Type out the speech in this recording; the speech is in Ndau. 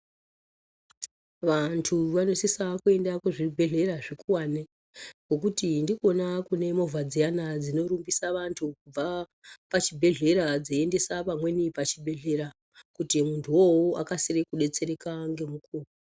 Vantu vanosise kuenda kuzvibhedhlera zvokuwane ngokuti ndikona kune mhovha dziyana dzinorumbisa vantu kubva pachibhedhlera dzeiendesa pamweni pachibhedhlera kuti muntu uwowo akasire kudetsereka ngemukuwo